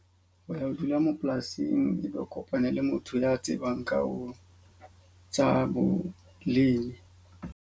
Ho ya ho dula moo polasing e be o kopane le motho ya tsebang ka oo tsa bolemi.